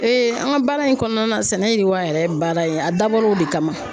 an ka baara in kɔnɔna sɛnɛ yiriwa yɛrɛ ye baara ye a dabɔra o de kama